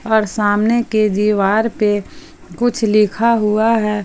और सामने के दीवार पे कुछ लिखा हुआ है।